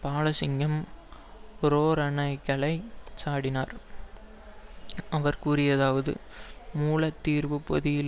பாலசிங்கம் பிரேரணைகளைச் சாடினார் அவர் கூறியதாவது மூல தீர்வு பொதியில்